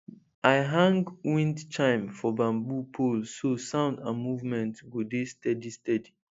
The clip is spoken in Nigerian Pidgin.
i hang wind chime for bamboo pole so sound and movement go dey steady steady